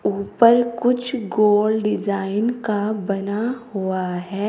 ऊपर कुछ गोल डिजाइन का बना हुआ है।